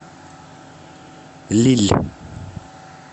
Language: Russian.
лилль